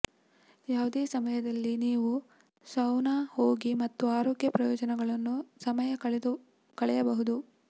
ಯಾವುದೇ ಸಮಯದಲ್ಲಿ ನೀವು ಸೌನಾ ಹೋಗಿ ಮತ್ತು ಆರೋಗ್ಯ ಪ್ರಯೋಜನಗಳನ್ನು ಸಮಯ ಕಳೆಯಬಹುದು